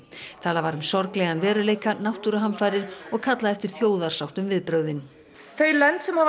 talað var um sorglegan veruleika náttúruhamfarir og kallað eftir þjóðarsátt um viðbrögðin þau lönd sem